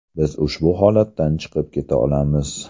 Biz ushbu holatdan chiqib keta olamiz.